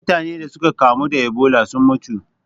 Mutane da suka kamu da Ebola sun mutu.